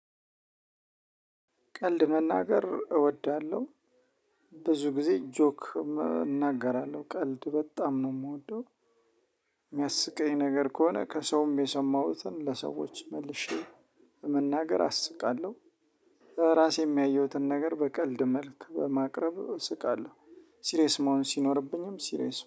ቀልድ መናገር እወዳለሁ። ብዙ ጊዜ ጆክ እናገራለሁ። ቀልድ በጣም ነው የምወደው። የሚያስቀኝ ነገር ከሆነ ከሰውም የሰማሁትን ለሰዎች መልሼ መናገር አስቃለሁ። ራሴ የሚያየሁትን ነገር በቀልድ መልክ በማቅረብ ስቃለሁ። ሲሪየስ መሆን ሲኖርብኝም ሲሪየስ